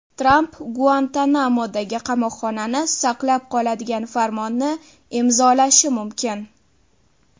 Tramp Guantanamodagi qamoqxonani saqlab qoladigan farmonni imzolashi mumkin.